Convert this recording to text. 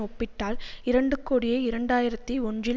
ஒப்பிட்டால் இரண்டு கோடியே இரண்டு ஆயிரத்தி ஒன்றில்